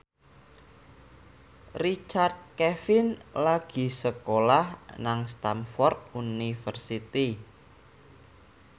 Richard Kevin lagi sekolah nang Stamford University